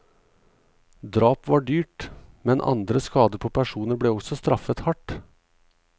Drap var dyrt, men andre skader på personer ble også straffet hardt.